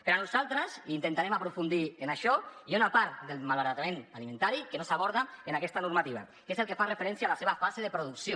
però nosaltres intentarem aprofundir en això hi ha una part del malbaratament alimentari que no s’aborda en aquesta normativa que és el que fa referència a la seva fase de producció